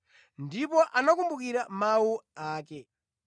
Ndipo anakumbukira mawu ake.